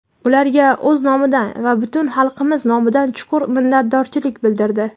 ularga o‘z nomidan va butun xalqimiz nomidan chuqur minnatdorchilik bildirdi.